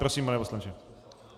Prosím, pane poslanče.